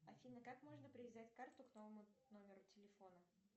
афина как можно привязать карту к новому номеру телефона